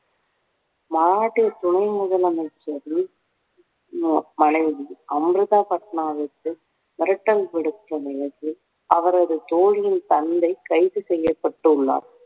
மராட்டிய துணை முதலமைச்சரின் ஆஹ் மனைவி அம்ருதா பட்னாவிஸை மிரட்டல் விடுத்த நிகழ்வு அவரது தோழியின் தந்தை கைது செய்யப்பட்டுள்ளார்